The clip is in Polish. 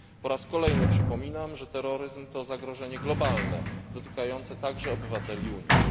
Po raz kolejny przypominam, że terroryzm to zagrożenie globalne, dotykające także obywateli Unii.